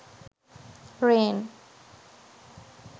rain